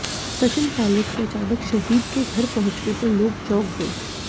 सचिन पायलट के अचानक शहीद के घर पहुंचने पर लोग चौंक गए